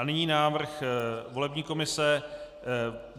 A nyní návrh volební komise.